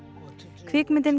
kvikmyndin